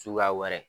Suguya wɛrɛ